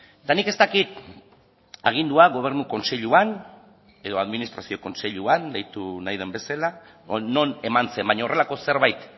eta nik ez dakit agindua gobernu kontseiluan edo administrazio kontseiluan deitu nahi den bezala edo non eman zen baina horrelako zerbait